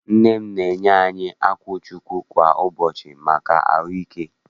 Nne m na-enye anyị akwụchukwu kwa ụbọchị maka ahụike.